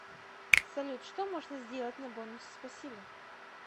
салют что можно сделать на бонусы спасибо